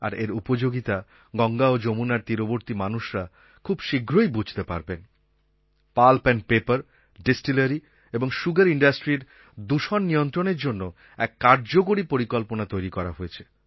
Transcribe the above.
আর এর উপযোগিতা গঙ্গা ও যমুনার তীরবর্তী মানুষরা খুব শীঘ্রই বুঝতে পারবেন পাল্প এন্ড পেপার ডিস্টিলারি এবং সুগার industryর দূষণ নিয়ন্ত্রণের জন্য এক কার্যকরী পরিকল্পনা তৈরি করা হয়েছে